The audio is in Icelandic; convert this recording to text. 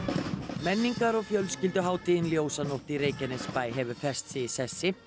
menningar og fjölskylduhátíðin ljósanótt í Reykjanesbæ hefur fest sig í sessi